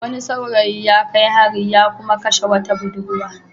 Wani saurayi ya kai hari ya kuma kashe wata budurwa.